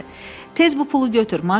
Tez bu pulu götür.